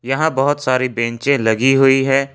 यहां बहोत सारी बेंचे लगी हुई है।